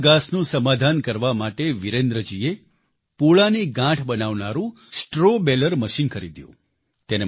સૂકા ઘાસનું સમાધાન કરવા માટે વિરેન્દ્રજીએ પૂળાની ગાંઠ બનાવનારું સ્ટ્રો બાલેર મશીન ખરીદ્યું